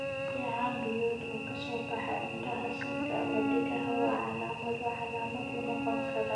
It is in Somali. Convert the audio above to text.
Dheecaan biyood oo ka soo baxa indhaha, sanka, ama dhegaha waa calaamado calaamad u noqon kara cudurrada xoolaha.